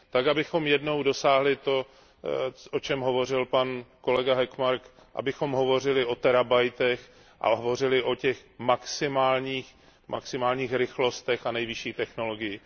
abychom jednou dosáhli toho, o čem hovořil pan kolega Hökmark, abychom hovořili o terabitech a hovořili o těch maximálních rychlostech a nejvyšší technologii.